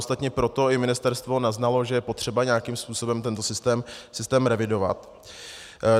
Ostatně i proto ministerstvo naznalo, že je potřeba nějakým způsobem tento systém revidovat.